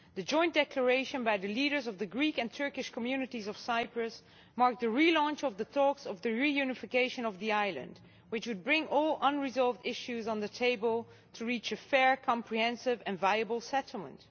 The Joint Declaration by the leaders of the Greek and Turkish communities of Cyprus marked the relaunch of talks on the reunification of the island which would bring all unresolved issues to the table to reach a fair, comprehensive and viable settlement.